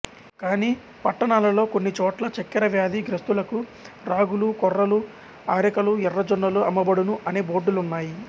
కానీ పట్టణాలలి కొన్ని చోట్ల చెక్కెర వ్యాధి గ్రస్తులకు రాగులు కొర్రలు ఆరెకలు ఎర్ర జొన్నలు అమ్మబడును అనే బోర్డులున్నాయి